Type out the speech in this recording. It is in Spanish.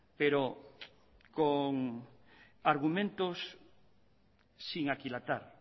pero con argumentos sin aquilatar